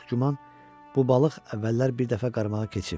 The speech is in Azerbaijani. Çox güman bu balıq əvvəllər bir dəfə qarmağa keçib.